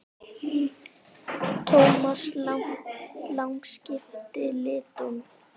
Thomas Lang skipti litum.